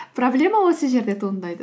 проблема осы жерде туындайды